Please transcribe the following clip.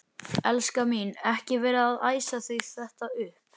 Elskan mín. ekki vera að æsa þig þetta upp!